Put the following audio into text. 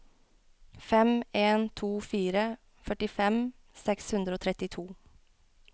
fem en to fire førtifem seks hundre og trettito